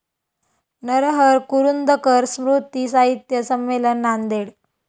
नरहर कुरुंदकर स्मृती साहित्य संमेलन, नांदेड